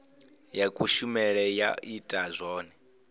ya kushemele ya ita zwone